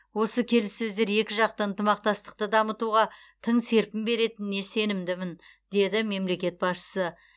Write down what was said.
осы келіссөздер екіжақты ынтымақтастықты дамытуға тың серпін беретініне сенімдімін деді мемлекет басшысы